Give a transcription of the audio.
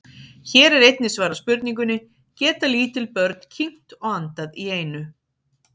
Hér er einnig svarað spurningunni: Geta lítil börn kyngt og andað í einu?